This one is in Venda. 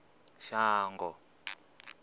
shango